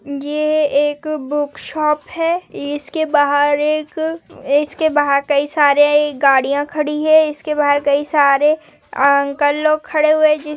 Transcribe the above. ये एक book shop है इसके बाहर एक इसके बाहर कई सारे गाड़िया खड़ी है इसके बाहर कई सारे अंकल लोग खड़े हुए है जिस--